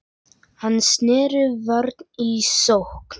Hann sneri vörn í sókn.